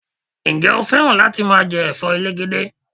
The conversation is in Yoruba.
Ǹjẹ́ o fẹ́ràn láti máa jẹ Ẹ̀fọ́ elegede?